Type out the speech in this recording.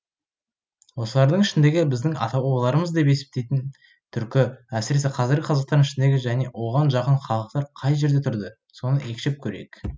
осылардың ішіндегі біздің ата бабаларымыз деп есептейтін түркі әсіресе қазіргі қазақтардың ішіндегі және оған жақын халықтар қай жерде тұрды соны екшеп көрейік